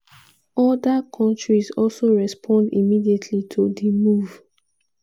oda kontris also respond immediately to di move.